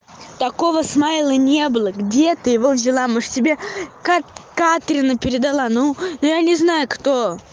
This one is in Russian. такого смайла не было где ты его взяла может тебе катрина передала ну я не знаю кто